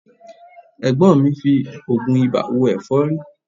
Ẹ̀gbọ́n mi ń fi oògùn ibà wo ẹ̀fọ́rí